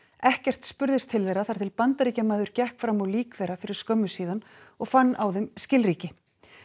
ekkert spurðist til þeirra þar til Bandaríkjamaður gekk fram á lík þeirra fyrir skömmu síðan og fann á þeim skilríki